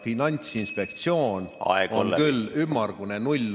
Finantsinspektsioon on olnud ümmargune null.